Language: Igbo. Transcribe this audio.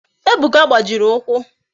Ebuka gbajiri ụkwụ